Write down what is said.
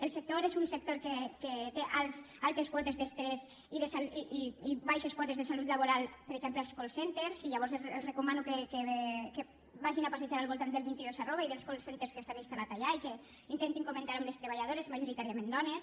el sector és un sector que té altes quotes d’estrès i baixes quotes de salut laboral per exemple als call centrespassejar al voltant del vint dos i dels call centres que estan instal·lats allà i que intentin comentar ho amb les treballadores majoritàriament dones